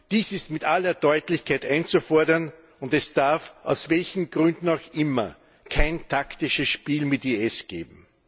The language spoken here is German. Dies ist mit aller Deutlichkeit einzufordern, und es darf, aus welchen Gründen auch immer, kein taktisches Spiel mit IS geben.